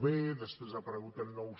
b després ha aparegut el nou